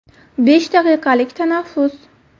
Besh daqiqalik tanaffus.